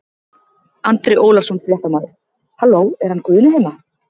Andri Ólafsson, fréttamaður: Halló er hann Guðni heima?